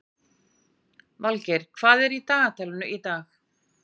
Valgeir, hvað er í dagatalinu í dag?